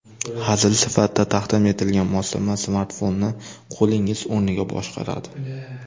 Hazil sifatida taqdim etilgan moslama smartfonni qo‘lingiz o‘rniga boshqaradi.